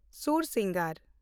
ᱥᱩᱨᱥᱤᱱᱚᱜᱚᱨ